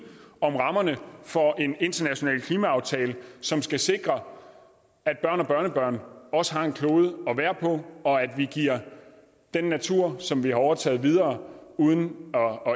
om rammerne for en international klimaaftale som skal sikre at børn og børnebørn også har en klode at være på og at vi giver den natur som vi har overtaget videre uden